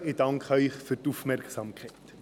Ich danke Ihnen für die Aufmerksamkeit.